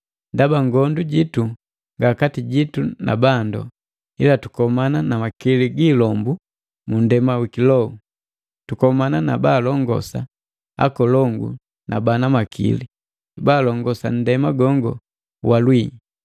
Ndaba ngondu jitu nga kati jitu na bandu, ila tukomana na makili gi ilombu mu nndema wi kiloho, tukomana na baalongosa, akolongu na bana makili, baalongosa nndema gongo wa lwii.